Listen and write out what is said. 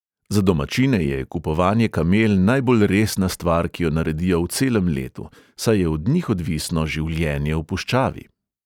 Za domačine je kupovanje kamel najbolj resna stvar, ki jo naredijo v celem letu, saj je od njih odvisno življenje v puščavi.